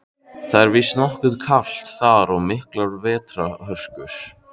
Það er víst nokkuð kalt þar og miklar vetrarhörkur.